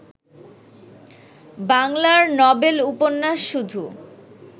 বাংলার নবেল উপন্যাস শুধু